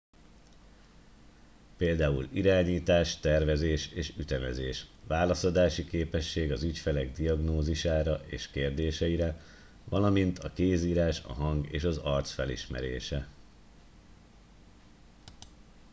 például irányítás tervezés és ütemezés válaszadási képesség az ügyfelek diagnózisára és kérdéseire valamint a kézírás a hang és az arc felismerése